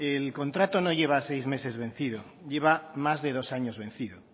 el contrato no lleva seis meses vencido lleva más de dos años vencido